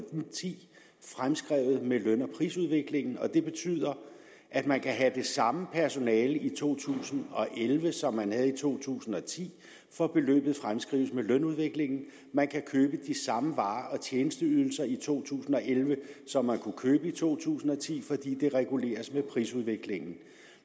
ti fremskrevet med løn og prisudviklingen det betyder at man kan have det samme personale i to tusind og elleve som man havde i to tusind og ti for beløbet fremskrives med lønudviklingen og man kan købe de samme varer og tjenesteydelser i to tusind og elleve som man kunne købe i to tusind og ti fordi det reguleres med prisudviklingen